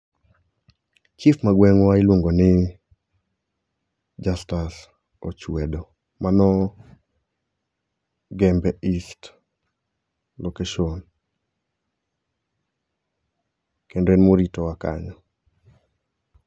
Chif magweng'wa iluongo ni Jastus Ochwedo, mano Gembe East location, kendo en emoritowa kanyo.